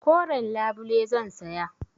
Koren labule zan saya.